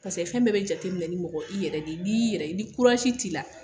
fɛn bɛɛ bɛ jateminɛ ni mɔgɔ i yɛrɛ de ye ni yɛrɛ ye ni t'i la.